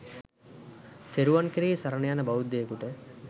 තෙරුවන් කෙරෙහි සරණ යන බෞද්ධයෙකුට